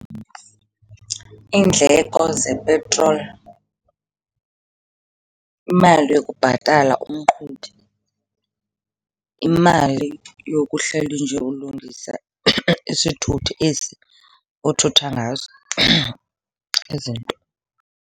Iindleko zepetroli, imali yokubhatala umqhubi, imali yokuhleli nje ulungisa isithuthi esi uthutha ngaso izinto.